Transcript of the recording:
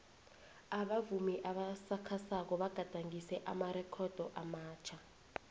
abavumi abasakhasako bagadangise amarekhodo amatjha